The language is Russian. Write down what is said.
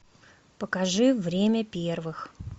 покажи время первых